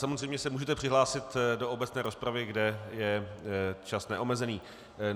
Samozřejmě se můžete přihlásit do obecné rozpravy, kde je čas neomezený.